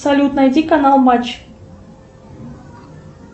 салют найди канал матч